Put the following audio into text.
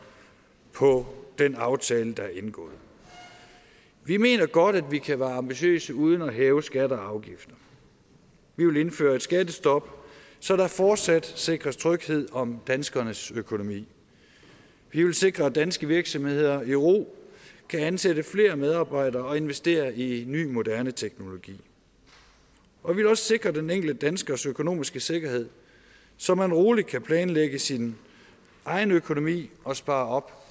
på den aftale der er indgået vi mener godt at vi kan være ambitiøse uden at hæve skatter og afgifter vi vil indføre et skattestop så der fortsat sikres tryghed om danskernes økonomi vi vil sikre at danske virksomheder i ro kan ansætte flere medarbejdere og investere i ny moderne teknologi og vi vil også sikre den enkelte danskers økonomiske sikkerhed så man roligt kan planlægge sin egen økonomi og spare op